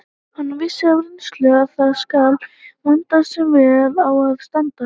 Hann vissi af reynslu að það skal vanda sem vel á að standa.